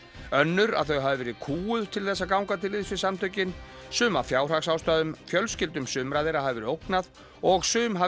önnur að þau hafi verið kúguð til að ganga til liðs við samtökin sum af fjárhagsástæðum fjölskyldum sumra þeirra hafi verið ógnað og sum hafi